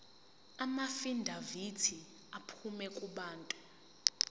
amaafidavithi aphuma kubantu